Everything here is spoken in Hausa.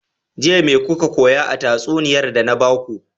Jiya me kuka koya a tatsuniyar da na baku?